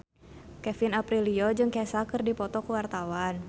Kevin Aprilio jeung Kesha keur dipoto ku wartawan